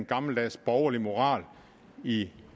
gammeldags borgerlig moral i